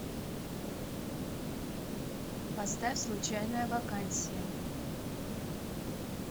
поставь случайная вакансия